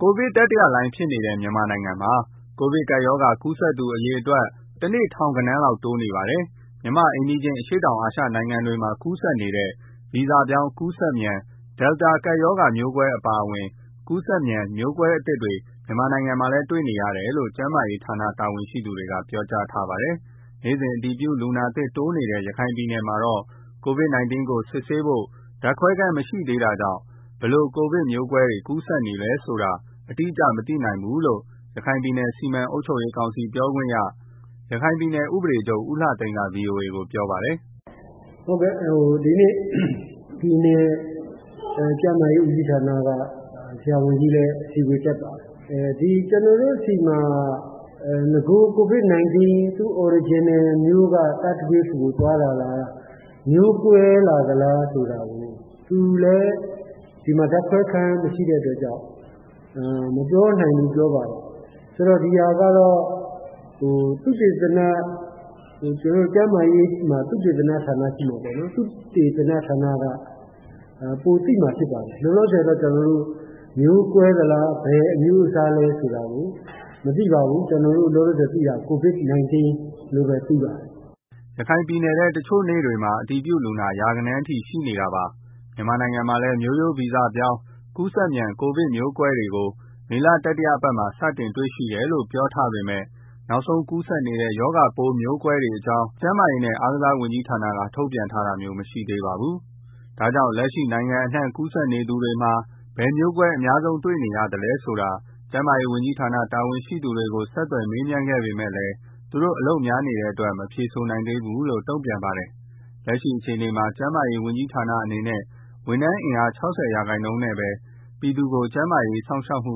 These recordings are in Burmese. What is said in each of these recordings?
ကိုဗစ်တတိယလှိုင်းဖြစ်နေတဲ့ မြန်မာနိုင်ငံမှာ ကိုဗစ်ကပ်ရောဂါကူးစက်သူ အရေအတွက် တနေ့တနေ့ ထောင်ဂဏန်းလောက် တိုးနေပါတယ်။မြန်မာ့အိမ်နီးချင်း အရှေ့တောင်အာရှနိုင်ငံတွေမှာ ကူးစက်နေတဲ့ ဗီဇပြောင်း ကူးစက်မြန် Delta ကပ်ရောဂါမျိုးကွဲအပါအဝင် ကူးစက်မြန်မျိုးကွဲသစ်တွေ မြန်မာနိုင်ငံမှာလည်း တွေ့နေရတယ်လို့ ကျန်းမာရေးဌာန တာဝန်ရှိသူတွေပြောကြားထားပါတယ်။ နေ့စဉ်အတည်ပြုလူနာသစ်တိုးနေတဲ့ ရခိုင်ပြည်နယ်မှာတော့ ကိုဗစ်-၁၉ ကို စစ်ဆေးဖို့ ဓာတ်ခွဲခန်း မရှိသေးတာကြောင့် ဘယ်လို ကိုဗစ်မျိုးကွဲ ကူးစက်နေတယ်ဆိုတာ အတိအကျ မသိနိုင်ဘူးလို့ ရခိုင်ပြည်နယ် စီမံအုပ်ချုပ်ရေးကောင်စီပြောခွင့်ရ ရခိုင်ပြည်နယ် ဥပဒေချုပ် ဦးလှသိန်းက ဗီအိုအေကို ပြောပါတယ်။ “ဒီနေ့ ပြည်နယ်ကျန်းမာရေးဦးစီးဌာနက ဆရာဝန်ကြီးလည်း အစည်းအဝေးတက်ပါတယ်။ ကျနော်တို့ဆီမှာ COVID-19 မူလမျိုးရိုးက တတိယလှိုင်းကို သွားတာလား မျိုးကွဲလာသလားဆိုတာကို သူလည်း ဒီမှာ ဓာတ်ခွဲခန်းမရှိတဲ့အတွက်ကြောင့် မပြောနိုင်ဘူးလို့ ပြောပါတယ်။ ဆိုတော့ ဒီဟာကတော့ သုတေသန ကျန်းမာရေးမှာ သုတေသနဌာနရှိမှာပေါ့နော်။ သုတေသနဌာနက ပိုသိမှာ ဖြစ်ပါတယ်။ လောလောဆယ်တော့ ကျနော်တို့ မျိုးကွဲသလား ဘယ်အမျိုးအစားလဲ ဆိုတာကတော့ မသိပါဘူး ကျနော်တို့ လောလောဆယ်သိတာ ကိုဗစ်-၁၉ လို့ပဲ သိပါတယ်။” ရခိုင်ပြည်နယ်ထဲ တချို့နေ့တွေမှာ အတည်ပြုလူနာ ရာဂဏန်းရှိနေတာပါ။ မြန်မာနိုင်ငံမှာလည်း မျိုးဗီဇပြောင်း ကူးစက်မြန် ကိုဗစ်မျိုးကွဲတွေကို မေလ တတိယပတ်မှာ စတင်တွေ့ရှိတယ်လို့ ပြောထားပေမဲ့ နောက်ဆုံးကူးစက်နေတဲ့ ရောဂါပိုး မျိုးကွဲအကြောင်း မြန်မာ ကျန်းမာရေးနဲ့ အားကစားဝန်ကြီးဌာနက ထုတ်ပြန်ထားတာမျိုးမရှိသေးပါဘူး။ ဒါကြောင့် လက်ရှိ နိုင်ငံအနှံ့ ကိုဗစ်ကူးစက်နေသူတွေမှာ ဘယ်မျိုးကွဲ အများဆုံးတွေ့နေရသလဲဆိုတာ ကျန်းမာရေးဝန်ကြီးဌာန တာဝန်ရှိသူတွေကို ဆက်သွယ်မေးခဲ့ပေမဲ့ သူတို့အလုပ်များနေတဲ့အတွက် မဖြေဆိုနိုင်သေးဘူးလို့ တုံ့ပြန်ပါတယ်။လက်ရှိအခြေအနေမှာ ကျန်းမာရေးဝန်ကြီးဌာနအနေနဲ့ ဝန်ထမ်းအင်အား ၆၀% နဲ့ပဲ ပြည်သူကို ကျန်းမာရေးစောင့်ရှောက်မှု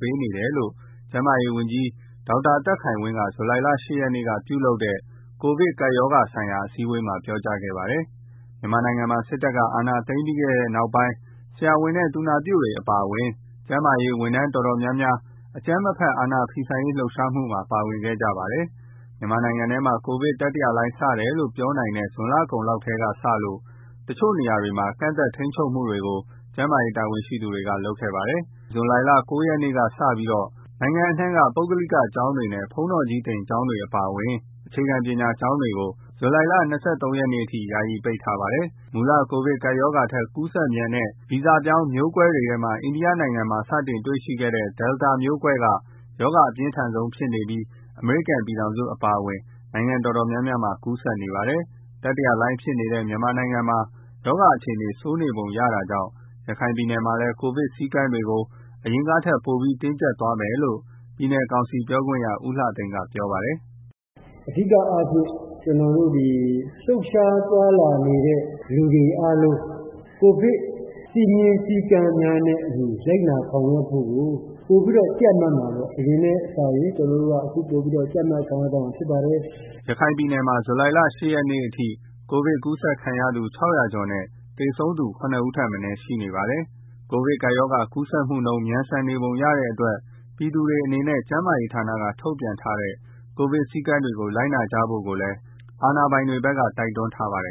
ပေးနိုင်နေတယ်လို့ ကျန်းမာရေးဝန်ကြီး ဒေါက်တာသက်ခိုင်ဝင်းက ဇူလိုင် ၈ ရက်က ပြုလုပ်တဲ့ ကိုဗစ်ကပ်ရောဂါဆိုင်ရာ အစည်းအဝေးမှာ ပြောကြားခဲ့ပါတယ်။ မြန်မာနိုင်ငံမှာ စစ်တပ်အာဏာသိမ်းခဲ့ပြီးနောက် ဆရာဝန်နဲ့ သူနာပြုအပါအဝင် ကျန်းမာရေးဝန်ထမ်းတော်တော်များများ အကြမ်းမဖက် အာဏာဖီဆန်ရေး လှုပ်ရှားမှုမှာ ပါဝင်ခဲ့ကြပါတယ်။ မြန်မာနိုင်ငံထဲမှာ ကိုဗစ်တတိယလှိုင်း စတယ်လို့ပြောနိုင်တဲ့ ဇွန်လကုန်လောက်ထဲကစလို့ တချို့နေရာတွေမှာ ကန့်သတ်ထိန်းချုပ်မှုတွေကို ကျန်းမာရေးတာဝန်ရှိသူတွေ လုပ်ခဲ့ပါတယ်။ ဒီနေ့ ဇူလိုင်လ ၉ ရက်ကစပြီး နိုင်ငံအနှံ့က ပုဂ္ဂလိကကျောင်းတွေနဲ့ ဘုန်းတော်ကြီးသင်ကျောင်းတွေအပါအဝင် အခြေခံပညာကျောင်းတွေကို ဇူလိုင်လ ၂၃ ရက်နေ့အထိ ယာယီပိတ်ထားပါတယ်။ မူလ ကိုဗစ်ကပ်ရောဂါထက် ကူးစက်မြန်တဲ့ ဗီဇပြောင်းမျိုးကွဲတွေထဲမှာ အိန္ဒိယနိုင်ငံမှာ စတွေ့ခဲ့တဲ့ Delta မျိုးကွဲက ရောဂါအပြင်းထန်ဆုံးဖြစ်နေပြီး အမေရိကန်ပြည်ထောင်စုအပါအဝင် နိုင်ငံတော်တော်များများမှာပါ ကူးစက်နေပါတယ်။ တတိယလှိုင်းဖြစ်နေတဲ့ မြန်မာနိုင်ငံမှာ ရောဂါအခြေအနေ ဆိုးနေပုံရတာကြောင့် ရခိုင်ပြည်နယ်မှာလည်း ကိုဗစ်စည်းကမ်းတွေကို အရင်ကထက် ပိုပြီး တင်းကြပ်သွားမယ်လို့ ပြည်နယ်ကောင်စီပြောခွင့်ရ ဦးလှသိန်းက ပြောပါတယ်။ “အဓိကအားဖြင့် ကျနော်တို့ လှုပ်ရှားသွားလာနေတဲ့ လူတွေအားလုံး ကိုဗစ် စည်းမျဉ်း စည်းကမ်းတွေနဲ့အတူ လိုက်နာဆောင်ရွက်ဖို့ကို အရင်ထက်စာရင် ပိုပြီးတော့ တင်းကြပ် ဆောင်ရွက်သွားမှာ ဖြစ်ပါတယ်။” ရခိုင်ပြည်နယ်မှာ ဇူလိုင်လ ၈ ရက်နေ့အထိ ကိုဗစ်ကူးစက်ခံရသူ ၆၀၀ ကျော်နဲ့ သေဆုံးသူ ၇ ဦးထက်မနည်းရှိနေပါတယ်။ ကိုဗစ်ကပ်ရောဂါ ကူးစက်မှုနှုန်း မြန်ဆန်နေပုံရတဲ့အတွက် ပြည်သူတွေအနေနဲ့ ကျန်းမာရေးဌာနက ထုတ်ပြန်ထားတဲ့ ကိုဗစ်စည်းကမ်းတွေကို လိုက်နာကြဖို့လည်း အာဏာပိုင်တွေဘက်က တိုက်တွန်းထားပါတယ်